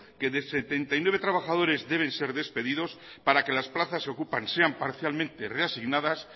que setenta y nueve trabajadores deben ser despedidos para que las plazas que ocupan sean parcialmente reasignadas